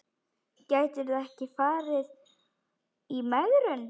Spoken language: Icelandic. Gætirðu ekki farið í megrun?